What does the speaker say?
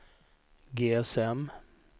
GSM